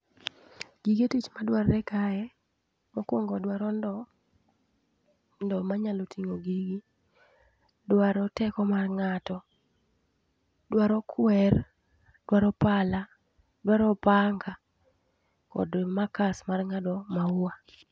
Gige tich ma dwarore kae mokuongo dwaro ndo, ndo manyalo ting'o gigi, dwaro teko mar ng'ato, dwaro kwer, dwaro pala dwaro opanga kod makas mar ng'ado maua